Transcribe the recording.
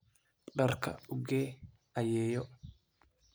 Dharka u gee ayeeyo.